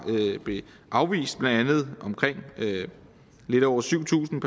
afvist omkring lidt over syv tusind